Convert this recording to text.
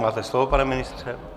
Máte slovo, pane ministře.